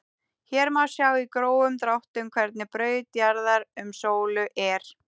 Hér má sjá í grófum dráttum hvernig braut jarðar um sólu er.